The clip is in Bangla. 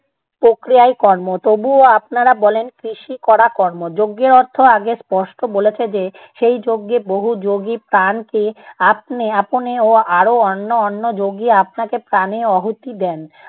প্রক্রিয়াই কর্ম। তবুও আপনারা বলেন, কৃষি করা কর্ম। যজ্ঞের অর্থ আগে স্পষ্ট বলেছে যে, সেই যজ্ঞে বহু যোগী প্রাণকে আপ্নে~ আপনে ও আরো অন্য অন্য যোগী আপনাকে প্রাণে অহুতি দেন।